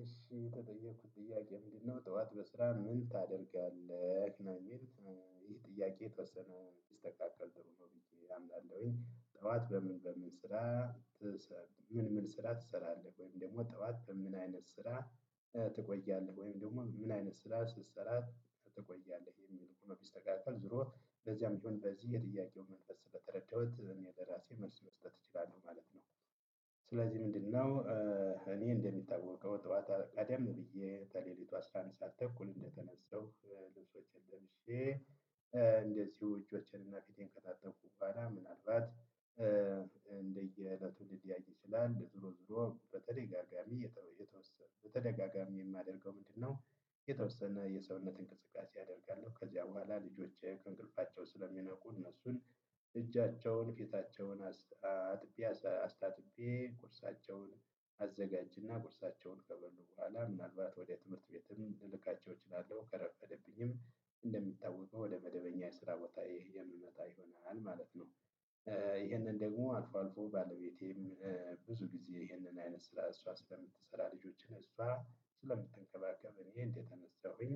እሺ የተጠየኩት ጥያቄ ምንድነው ጠዋት በስራ ምን ታደርጋለህ ነው የሚል ይሄ ጥያቄ የተወሰነ ቢስተካከል ጥሩ ነው ብዬ አምናለሁኝ ጠዋት በምን በምን ስራ? ምን ምን ስራ ትሰራለህ ወይም ደግሞ ጠዋት ምን አይነት ስራ ትቆያለህ ወይም ደግሞ ምን አይነት ስራ ስትሰራ ትቆያለህ የሚል ሁኒ ቢስተካከል ዞሮ በዚያም ቢሆን በዚህ የጥያቄውን መንፈስ ስለተረዳሁት እኔ ለራሴ መልስ መስጠት እችላለሁ ማለት ነው። ስለዚህ ምንድነው? እኔ እንደሚታዋቀው ጠዋት ቀደም ብዬ ተሌሊቱ አስራ አንድ ሰዓት ተኩል እንደተነሳሁ ልብሶችን ለብሼ። እንደዚሁ እጆቼን እና ፊቴን ከታጠብሁ በኋላ ምናልባት እንደየ እለቱ ሊለያይ ይችላል ዙሮ ዙሮ በተደጋጋሚ የተወ የተወሰነ በተደጋጋሚ የማደርገው ምንድነው? የተወሰነ የሰውነት እንቅስቃሴ አደርጋለሁ። ከዚያ በኋላ ልጆቼ ከእንቅልፋቸው ስለሚነቁ እነሱን እጃቸውን ፊታቸውን። አጥቤ አስታጥቤ ቁርሳቸውን አዘጋጅና ቁርሳቸውን ከበሉ በኋላ ምናልባት ወደ ትምህርት ቤትም ልልካቸው እችላለሁ ከረፈደብኝም እንደሚታወቀው ወደ መደበኛ የስራ ቦታየ የምመጣ ይሆናል ማለት ነው። ይሄንን ደግሞ አልፎ አልፎ ባለቤቴም። ጊዜ ይህንን አይነት ስራ እሷ ስለምትሰራ ልጆችን እሷ ስለምትንከባከብ እኔ እንደተነሳሁኝ